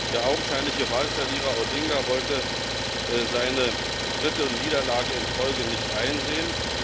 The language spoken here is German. Der augenscheinliche Wahlverlierer Odinga wollte seine dritte Niederlage in Folge nicht einsehen.